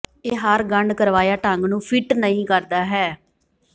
ਇਹ ਹਰ ਗੰਢ ਕਰਵਾਇਆ ਢੰਗ ਨੂੰ ਫਿੱਟ ਨਹੀ ਕਰਦਾ ਹੈ